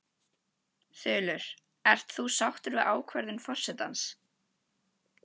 Þulur: Ert þú sáttur við ákvörðun forsetans?